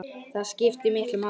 Það skiptir miklu máli.